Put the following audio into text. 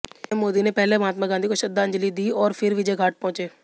PM Modi ने पहले महात्मा गांधी को श्रद्धांजलि दी और फिर विजयघाट पहुंचे